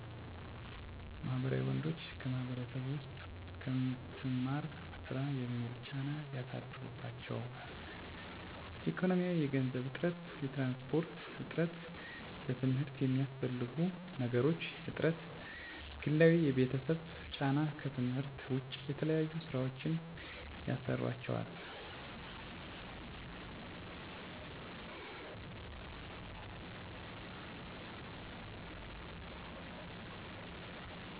ማህበራዊ ወንዶች በማህበረሰቡ ዉስጥ ከምትማር ስራ የሚል ጫና ያሳድሩባቸዋል። ኢኮኖሚያዊ የገንዘብ እጥረት፣ የትራንስፖርት እጥረት፣ ለትምርት የሚያስፈልጉ ነገሮች እጥረት፣ ግላዊ የቤተሰብ ጫና ከትምህርት ዉጭ የተለያዩ ስራወችን ያሰሩአቸዋል የቤተሰብ ግጭት እናት እና አባት አቸዉ በተጣሉ ቁጥር ትምህርታቸዉን ያሰናክላል። የፍቅር ህይወት ስለሚጀምሩ ሲቆረጥ የተበላሸ ትምህርታቸዉን ችግር ላይ ይወድቃል። ቤተሰብአቸዉ የሚያስፈልጋቸዉን ነገር ስለማያሞሉላቸዉ በኢኮኖሚ ችግር እንቅፋት ይሆንባቸዋል።